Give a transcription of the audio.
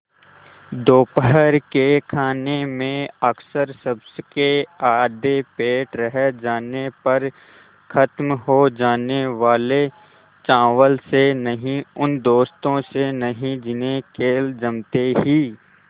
दोपहर के खाने में अक्सर सबके आधे पेट रह जाने पर ख़त्म हो जाने वाले चावल से नहीं उन दोस्तों से नहीं जिन्हें खेल जमते ही